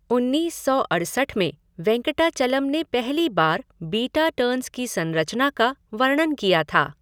उन्नीस सौ अड़सठ में वेंकटाचलम ने पहली बार बीटा टर्न्स की संरचना का वर्णन किया था।